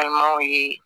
An m'aw ye